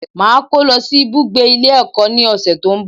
Màá kó lọ sí ibùgbé Ilé ẹ̀kọ́ ní òsẹ̀ tó ń bọ̀